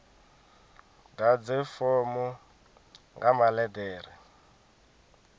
ḓadze fomo nga maḽe ḓere